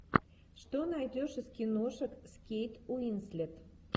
что найдешь из киношек с кейт уинслет